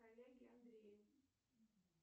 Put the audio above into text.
коллеге андрею